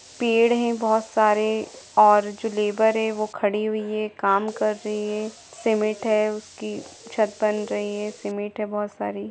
पेड़ है बहुत सारे और जो लेबर है वह खड़ी हुई है काम कर रही है सीमेंट हैउसकीछत बन रही है सीमेंट है बहुत सारी।